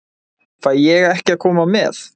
Fæ ég ekki að koma með?